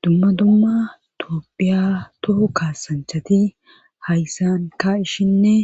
dumma dumma toophiya tohu kaasanchati hayssan ka ishshinne